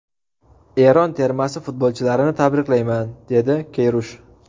Eron termasi futbolchilarini tabriklayman”, dedi Keyrush.